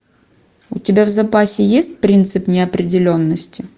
у тебя в запасе есть принцип неопределенности